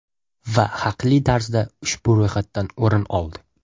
Va haqli tarzda ushbu ro‘yxatdan o‘rin oldi.